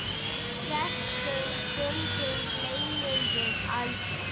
Þessum stundum gleymum við aldrei.